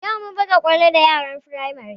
Yau mun buga kwallo da yaran Firamare